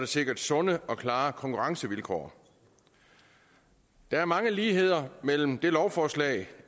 sikres sunde og klare konkurrencevilkår der er mange ligheder mellem det lovforslag